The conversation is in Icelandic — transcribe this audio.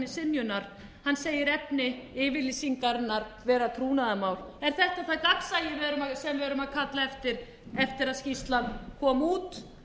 synjunar hann segir efni yfirlýsingarinnar vera trúnaðarmál er þetta það gagnsæi sem við erum að kalla eftir eftir að skýrslan kom út